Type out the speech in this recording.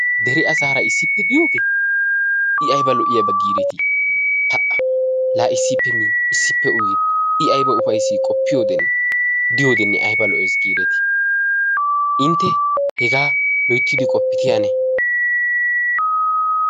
dere asaara issippe diyoogee i ayba lo'iyaba giidetii? pa'a laa issippe miidi issippe uyidi i ayba ufaysees giideti? qoppiyode diyodenne ayba lo'ees giidetii inte hegaa loyttidi qoppite ane.